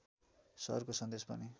सरको सन्देश पनि